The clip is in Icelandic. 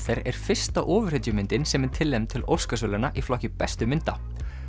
er fyrsta ofurhetjumyndin sem er tilnefnd til Óskarsverðlauna í flokki bestu mynda